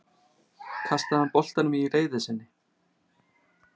Kastaði hann boltanum í reiði sinni?